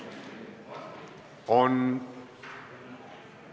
Kõnesoove on.